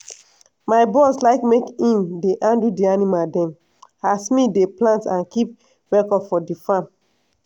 my bros like make i'm dey handle di animal dem as me dey plant and kip record for di farm.